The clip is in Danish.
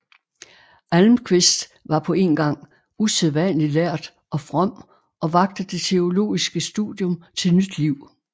Almquist var på én gang usædvanlig lærd og from og vakte det teologiske studium til nyt liv